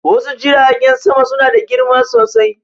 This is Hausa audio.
Wasu Jiragen sama suna da girma sosai.